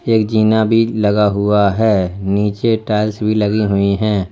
एक जीना भी लगा हुआ है नीचे टाइल्स भी लगी हुई है।